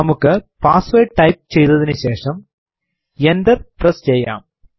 നമുക്ക് password type ചെയ്തതിനു ശേഷം എൻറർ പ്രസ് ചെയ്യാം